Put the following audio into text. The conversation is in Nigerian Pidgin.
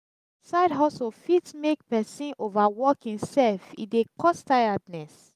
side hustle fit make persin over work himself e de cause tiredness